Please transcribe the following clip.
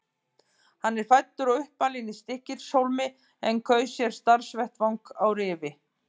Hann er fæddur og uppalinn í Stykkishólmi en kaus sér starfsvettvang á Rifi.